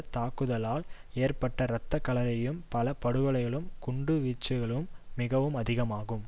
தாக்குதலால் ஏற்பட்ட இரத்தக்களரியும் பல படுகொலைகளும் குண்டு வீச்சுகளும் மிகவும் அதிகமாகும்